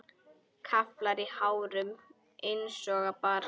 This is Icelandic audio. Kraflar í hárunum einsog barn.